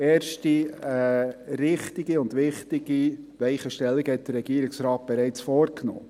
Erste richtige und wichtige Weichenstellungen hat der Regierungsrat bereits vorgenommen.